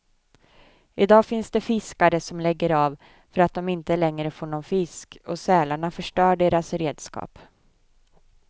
I dag finns det fiskare som lägger av för att de inte längre får någon fisk och sälarna förstör deras redskap.